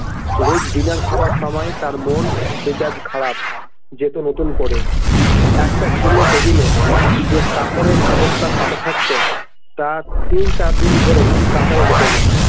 রোজ dinner খাবার সময় তার মন মেজাজ খারাপ যেত নতুন করে একট পুরোনো table এ যে কাপড়ের চাদরটা পাতা থাকত তা তিন চার দিন ধরে কাচাই হত না।